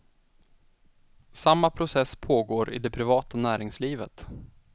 Samma process pågår i det privata näringslivet.